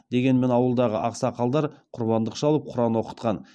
дегенмен ауылдағы ақсақалдар құрбандық шалып құран оқытқан